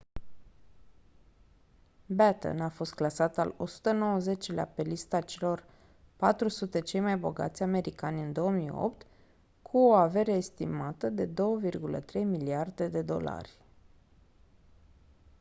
batten a fost clasat al 190-lea pe lista celor 400 cei mai bogați americani în 2008 cu o avere estimată de 2,3 miliarde de dolari